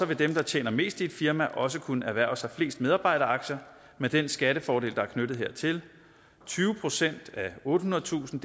vil dem der tjener mest i et firma også kunne erhverve sig flest medarbejderaktier med den skattefordel der er knyttet hertil tyve procent af ottehundredetusind